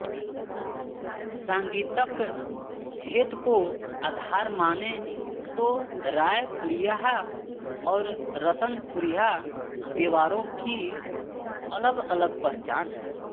सांगीतक भेद को आधार मानें तो रायपुरिहा और रतनपुरिहा देवारों की अलगअलग पहचान हैं